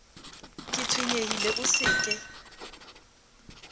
ke tshwenyehile o se ke